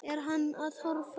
Er hann að horfa út?